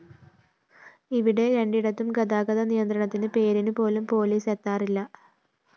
ഇവിടെ രണ്ടിടത്തും ഗതാഗത നിയന്ത്രണത്തിന് പേരിന് പോലും പോലീസ് എത്താറില്ല